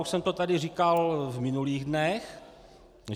Už jsem to tady říkal v minulých dnech.